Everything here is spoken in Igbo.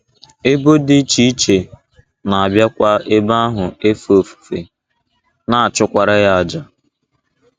Ebo dị iche iche na - abịakwa ebe ahụ efe ofufe, na - achụkwara ya àjà.